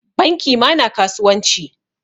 Banki ma na kasuwanci.